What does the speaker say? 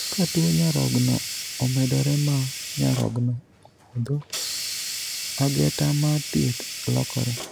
Ka tuo nyarogno omedore ma nyarogno opodho, ageta mar thieth lokore.